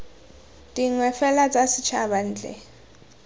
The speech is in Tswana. dingwe fela tsa setshaba ntle